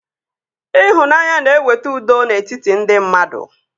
Ịhụnanya na-eweta udo n'etiti ndị mmadụ